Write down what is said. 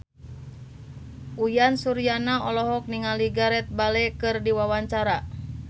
Uyan Suryana olohok ningali Gareth Bale keur diwawancara